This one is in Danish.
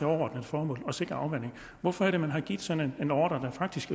overordnet formål at sikre afvanding hvorfor har man givet sådan en ordre der faktisk